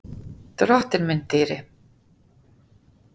Drottinn minn dýri.